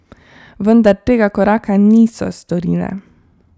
Vendar tega koraka niso storile.